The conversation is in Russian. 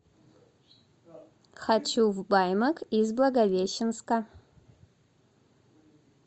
хочу в баймак из благовещенска